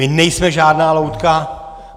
My nejsme žádná loutka.